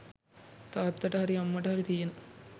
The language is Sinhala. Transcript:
තාත්තට හරි අම්මට හරි තියෙන